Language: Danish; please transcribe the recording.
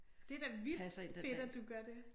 Det da vildt fedt at du gør det